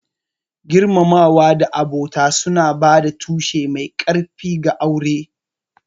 Girmamawa da abota suna ba da tushe mai ƙarfi ga aure.